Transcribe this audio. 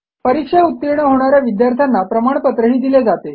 परीक्षा उतीर्ण होणा या विद्यार्थ्यांना प्रमाणपत्रही दिले जाते